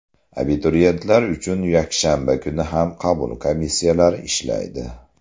Abituriyentlar uchun yakshanba kuni ham qabul komissiyalari ishlaydi.